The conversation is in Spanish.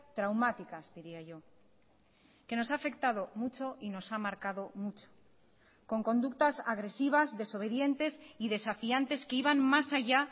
traumáticas diría yo que nos ha afectado mucho y nos ha marcado mucho con conductas agresivas desobedientes y desafiantes que iban más allá